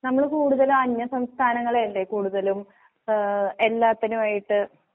നമ്മള്കൂടുതലനന്യസംസ്ഥാനങ്ങളെയല്ലേ കൂടുതലും ഏഹ് എല്ലാത്തിനുവായിട്ട്